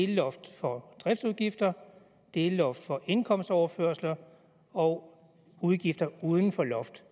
delloft for driftsudgifter delloft for indkomstoverførsler og udgifter uden for loft